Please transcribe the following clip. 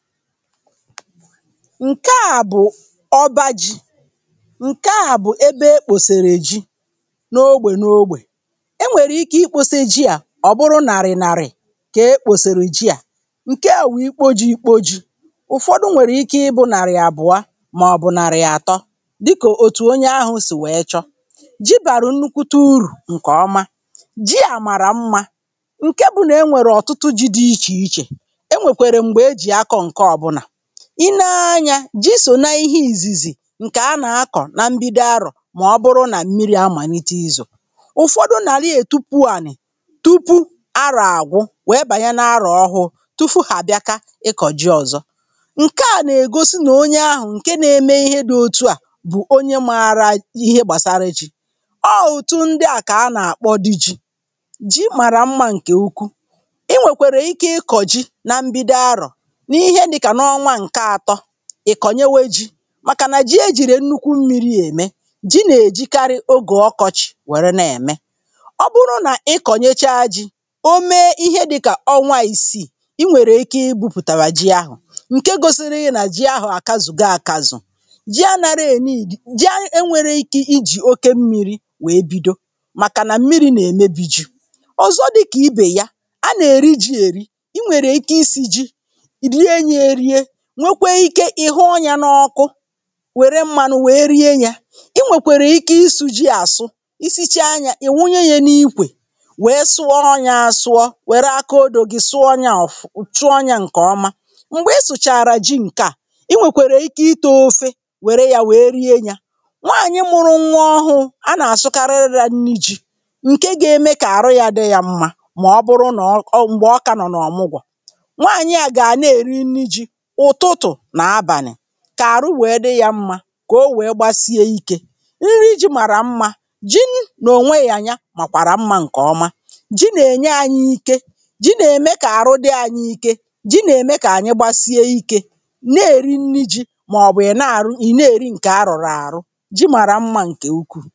Nke à bụ̀ ọba ji̇ ǹke à bụ ebe e kpòsèrè ji n’ogbè n’ógbè, e nwèrè ike ịkposė ji à ọ̀ bụrụ nàrị̀ nàrị̀, kee kpòsèrè ji a, alà wụ̀ ikpo ji ikpo ji̇, ụ̀fọdụ nwèrè ike ịbụ̇ nàrị̀ àbụọ màọ̀bụ̀ nàrị̀ àtọ dịkà òtù onye ahụ̇ sì wèe chọ, ji bàrà nnukwuta urù ǹkè ọma, ji à mara mmȧ ǹke bụ̇nà e nwèrè ọ̀tụtụ ji dị̇ ichè ichè. Enwekwere mgbe eji akọ nke ọbụla, ị nee anyȧ, ji sò na ihe ìzìzì ǹkè anà -akọ̀ na mbido arọ̀ màọbụrụ nà mmiri̇ amàlite ịzọ, ụfọdụ nàlị ètupu ànị̀ tupu arọ̇ àgwụ wèe bànye nȧ arọ̀ ọhụụ tufu hà bịaka ịkọ̀ji ọ̀zọ, ǹkẹ à nà ègosi nà onye ahụ̀ ǹke na eme ihe dị̇ òtu à bụ̀ onye màara ihe gbàsara ji ọọ̀ òtu ndị à kà anà àkpọ dị ji, ji màrà mmȧ ǹkè ụkwụ, i nwèkwèrè ike ịkọ̀ ji na mbido arọ̀, n'ihe dị ka n'ọnwa nke atọ, ì kọ̀nyewe ji màkà nà ji ejìrì nnukwu mmiri̇ ème, ji nà-èjikarị ogè ọkọchì wère nà-ème, ọ bụrụ nà ị kọ̀nyecha ji, o mee ihe dịkà ọnwa ìsìi, i nwèrè ike ị gbupùtàwà ji ahụ̀, ǹke gosiri nà ji ahụ̀ àkazụ̀go àkazụ̀, ji a ṅara ah ji e nwere ike i jì oke mmiri̇ wèe bido màkà nà mmiri̇ nà-èmebi ji, ọ̀zọ dịkà ibè ya, a nà-èri ji èri, i nwèrè ike isie ji, rie ya erie, nwekwe ike ihuọnyȧ n’ọkụ wère mmanụ wèe rie yȧ. I nwèkwèrè ike isù ji àsụ, isichaa yȧ ì wunye yȧ n’ikwè wère sụọ ọnyȧ àsụọ wère akaodò gi sụọ yȧ òfuu sụọ ọnyȧ ǹkè ọma, m̀gbè i sụ̀chàrà ji ǹke à, i nwèkwèrè ike ite ofe wère yȧ wèe rie yȧ nwaànyị mụrụ nwa ọhụụ a nà-àsụkarịrị ya nri ji ǹke ga-eme kà àrụ yȧ dị yȧ m̀ma mà ọ bụrụ nọ̀ ọ(uh)m̀gbè ọ kà no n’ọmụgwo, nwaànyị à gà ana-èri nri ji ụtụtụ na abani kà àrụ wèe dị yȧ mmȧ kà o wèe gbasie ya ikė, nri ji màrà mmȧ. ji nà ò nwe, nyanya màkwàrà mmȧ ǹkè ọma, jì nà -ènye anyị ike, jì nà -ème kà àrụ dị anyị ike, jì nà- ème kà ànyị gbasie ikė, nà-èri nri ji̇ màọ̀bụ̀ ị̀ nà-aru ịna-eri ǹkè a rụ̀rụ̀ àrụ, ji màrà mmȧ ǹkè ukwuu(paise)